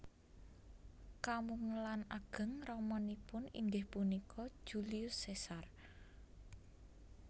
Kamungelan ageng ramanipun inggih punika Julius Caesar